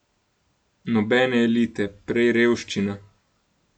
Nobene elite, prej revščina.